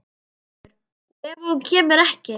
Höskuldur: Og ef að hún kemur ekki?